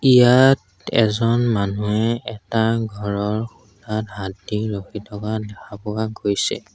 ইয়াত এজন মানুহে এটা ঘৰৰ খুঁটাত হাত দি ৰখি থকা দেখা পোৱা গৈছে।